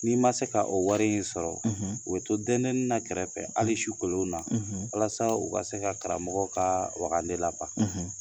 N'i ma se ka o wari in sɔrɔ u bi to dɛndɛnni na kɛrɛfɛ hali su kolonw na walasa u ka se ka karamɔgɔ ka wagaden laban